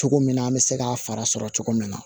Cogo min na an bɛ se k'a fara sɔrɔ cogo min na